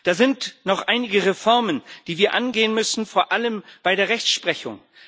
Da sind noch einige Reformen, die wir angehen müssen, vor allem bei der Rechtsprechung.